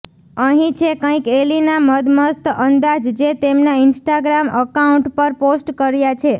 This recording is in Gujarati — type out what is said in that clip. અહીં છે કઈક એલીના મદમસ્ત અંદાજ જે તેમના ઈંસ્ટાગ્રામ અકાઉંટ પર પોસ્ટ કર્યા છે